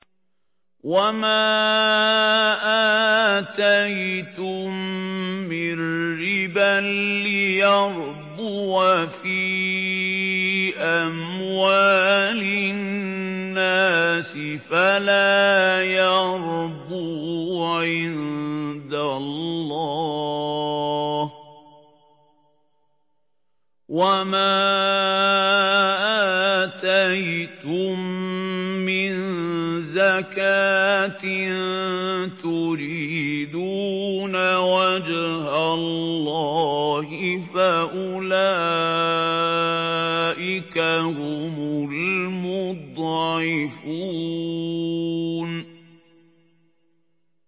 وَمَا آتَيْتُم مِّن رِّبًا لِّيَرْبُوَ فِي أَمْوَالِ النَّاسِ فَلَا يَرْبُو عِندَ اللَّهِ ۖ وَمَا آتَيْتُم مِّن زَكَاةٍ تُرِيدُونَ وَجْهَ اللَّهِ فَأُولَٰئِكَ هُمُ الْمُضْعِفُونَ